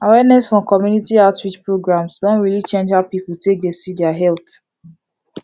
awareness from community outreach programs don really change how people take dey see their health